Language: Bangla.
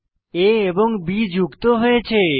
a এবং b যুক্ত হয়েছে